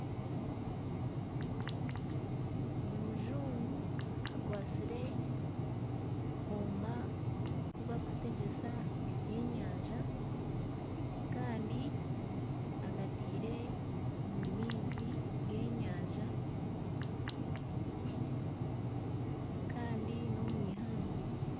Omujungu akwatsire akooma aku barikutegyesa ebyenyanja kandi akataire omu maizi g'enyanja kandi n'omu ihangwe